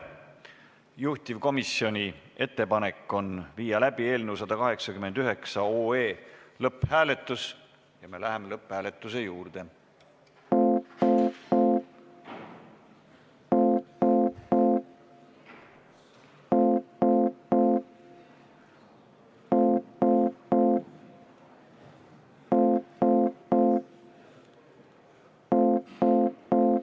Juhtivkomisjoni ettepanek on viia läbi eelnõu 189 lõpphääletus ja me läheme lõpphääletuse juurde.